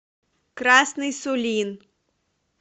красный сулин